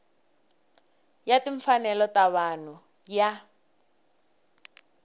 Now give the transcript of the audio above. ya timfanelo ta vanhu ya